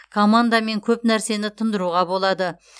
командамен көп нәрсені тындыруға болады